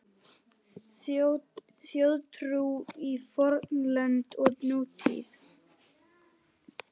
Þjóðtrú í fornöld og nútíð